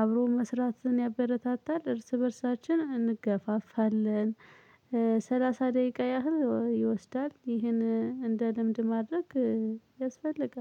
አብሮ መስራትን ያበረታታል እርስ በእርሳችን እንገፋፋለን። ሰላሳ ደቂቃ ያህል ይወስዳል ይሄን እንደ ልምድ ማድረግ ያስፈልጋል